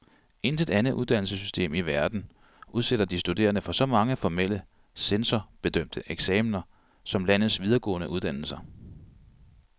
Intet andet uddannelsessystem i verden udsætter de studerende for så mange formelle, censorbedømte eksaminer som landets videregående uddannelser.